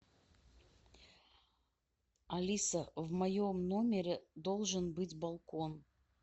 алиса в моем номере должен быть балкон